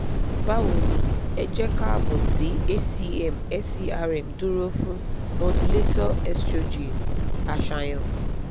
bawo ni e je kaabo si hcm serm duro fun modulator estrogen aṣayan